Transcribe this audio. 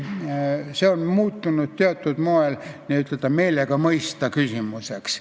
See on muutunud teatud moel n-ö meelega-mõista-küsimuseks.